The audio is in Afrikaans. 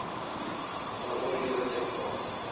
daaroor ewe dikwels